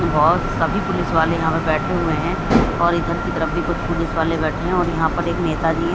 बहुत सभी पुलिस वाले यहां पर बैठे हुए हैं और इधर की तरफ भी कुछ पुलिस वाले बैठे हैं और यहां पर एक नेता जी है।